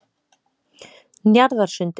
Njarðarsundi